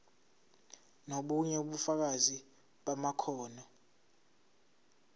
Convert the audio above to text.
nobunye ubufakazi bamakhono